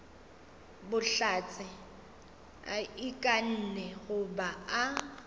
bohlatse a ikanne goba a